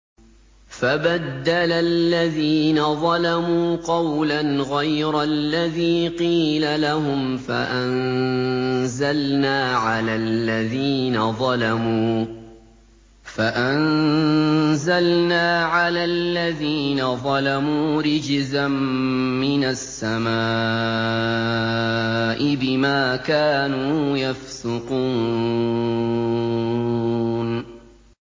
فَبَدَّلَ الَّذِينَ ظَلَمُوا قَوْلًا غَيْرَ الَّذِي قِيلَ لَهُمْ فَأَنزَلْنَا عَلَى الَّذِينَ ظَلَمُوا رِجْزًا مِّنَ السَّمَاءِ بِمَا كَانُوا يَفْسُقُونَ